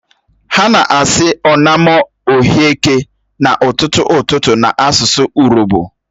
Ha na-asi "onamo urhioke" ka ututu ututu n'asusu urobo.